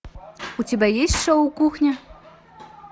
у тебя есть шоу кухня